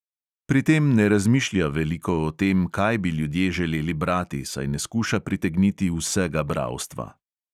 Pri tem ne razmišlja veliko o tem, kaj bi ljudje želeli brati, saj ne skuša pritegniti vsega bralstva.